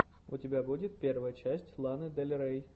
у тебя будет первая часть ланы дель рей